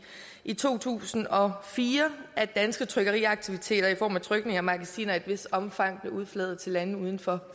i to tusind og fire af danske trykkeriaktiviteter i form af at trykningen af magasiner i et vist omfang blev udflaget til lande uden for